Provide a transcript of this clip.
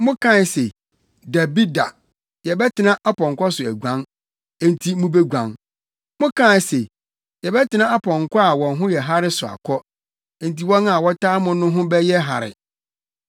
Mokaa se, ‘Dabi da, yɛbɛtena apɔnkɔ so aguan.’ Enti mubeguan! Mokaa se, ‘yɛbɛtena apɔnkɔ a wɔn ho yɛ hare so akɔ.’ Enti wɔn a wɔtaa mo no ho bɛyɛ hare!